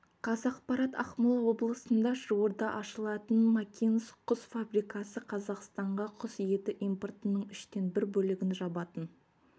қазақпарат ақмола облысында жуырда ашылатын макинск құс фабрикасы қазақстанға құс еті импортының үштен бір бөлігін жабатын